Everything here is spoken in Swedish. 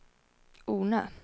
Ornö